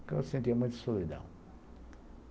Porque eu sentia muita solidão.